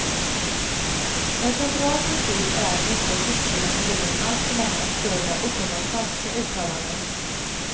En central princip är att vi inte bör tillskriva individen alltför många absurda och uppenbart falska uttalanden.